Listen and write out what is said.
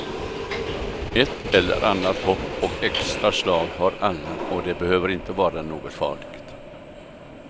Ett eller annat hopp och extraslag har alla och det behöver inte vara något farligt.